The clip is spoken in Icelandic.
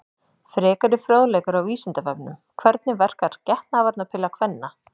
Frekari fróðleikur á Vísindavefnum: Hvernig verkar getnaðarvarnarpilla kvenna?